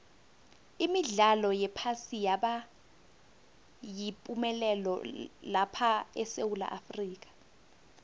imidlalo yephasi yaba yipumelelo lapha esewula afrika